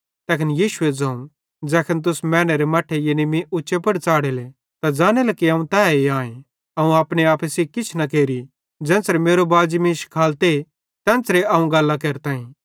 तैखन यीशुए ज़ोवं ज़ैखन तुस मैनेरे मट्ठे यानी मीं उच्चे पुड़ च़ाढ़ेले त ज़ानेले कि अवं तैए आईं अवं अपने आपे सेइं किछ न केरि ज़ेन्च़रे मेरो बाजी मीं शिखालते तेन्च़रे तैना गल्लां केरताईं